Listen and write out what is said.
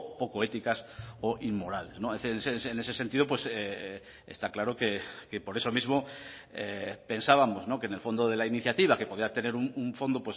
poco éticas o inmorales en ese sentido está claro que por eso mismo pensábamos que en el fondo de la iniciativa que podía tener un fondo